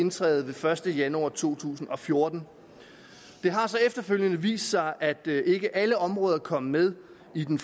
indtræde den første januar to tusind og fjorten det har så efterfølgende vist sig at ikke alle områder kom med i den